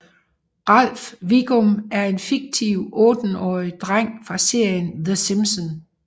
Ralph Wiggum er en fiktiv otteårig dreng fra serien The Simpsons